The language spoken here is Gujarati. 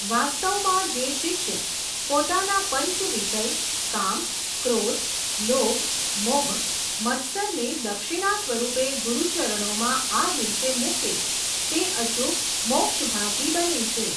વાસ્તવમાં જે શિષ્ય, પોતાના પંચવિષય કામ, ક્રોધ, લોભ, મોહ, મત્સરને દક્ષિણા સ્વરૂપે ગુરૂચરણોમાં આ દિવસે મૂકે, તે અચૂક મોક્ષભાગી બને છે.